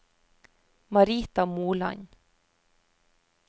Marita Moland